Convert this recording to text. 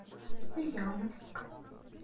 ульяновск